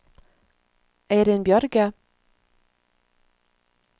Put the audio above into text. Eirin Bjørge